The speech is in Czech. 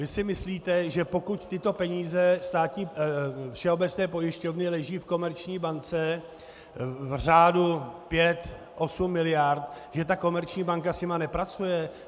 Vy si myslíte, že pokud tyto peníze všeobecné pojišťovně leží v komerční bance v řádu pěti, osmi miliard, že ta komerční banka s nimi nepracuje?